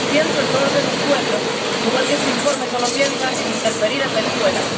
Pienso en todos esos pueblos, igual que este informe solo piensa en interferir en Venezuela.